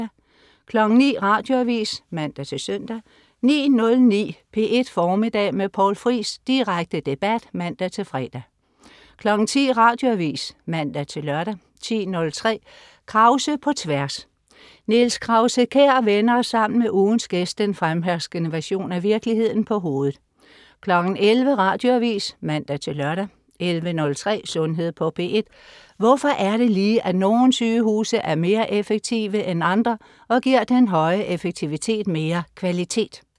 09.00 Radioavis (man-søn) 09.09 P1 Formiddag med Poul Friis. Direkte debat (man-fre) 10.00 Radioavis (man-lør) 10.03 Krause på Tværs. Niels Krause-Kjær vender sammen med ugens gæst den fremherskende version af virkeligheden på hovedet 11.00 Radioavis (man-lør) 11.03 Sundhed på P1. Hvorfor er det lige, at nogle sygehuse er mere effektive end andre og giver den høje effektivitet mere kvalitet?